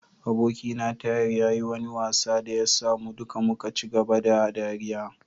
Abokina Tahir ya yi wani wasa da ya sa mu duka muka ci gaba da ɗariya.